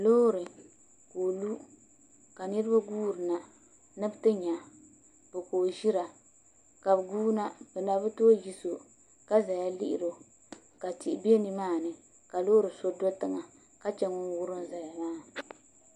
Loori ka o lu ka niraba guuri na ni bi ti nya bo ka o ʒira ka bi guuna bi na bi tooi yiso ka ʒɛya lihiri o ka tihi bɛ nimaani ka loori so do tiŋa ka chɛ ŋun wurim ʒɛya maa